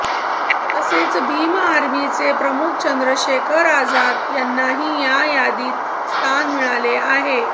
तसेच भीम आर्मीचे प्रमुख चंद्र शेखर आझाद यांनाही या यादीत स्थान मिळाले आहे